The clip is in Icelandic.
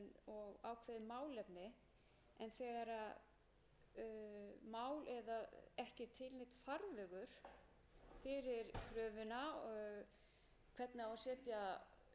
og hvað má verja löngum tíma í að safna undirskriftum eða hvernig það á að fara fram er í lagi að gera